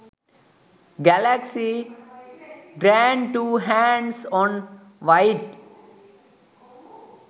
galaxy grand2 hands on white